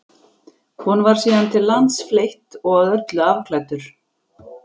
Honum var síðan til lands fleytt og að öllu afklæddur.